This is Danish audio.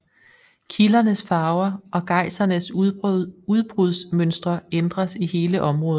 Kildernes farver og gejsernes udbrudsmøntre ændres i hele området